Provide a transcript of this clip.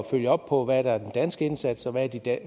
følge op på hvad der er den danske indsats og hvad der